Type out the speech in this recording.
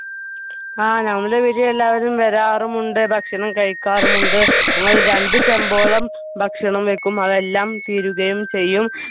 ആ നങ്ങളുടെ വീട്ടിൽ എല്ലാവരും വരാറുമുണ്ട് ഭക്ഷണം കഴിക്കാറുമുണ്ട് നമ്മൾ രണ്ടു ചെമ്പോളം ഭക്ഷണം വെക്കും അതെല്ലാം തീരുകയും ചെയ്യും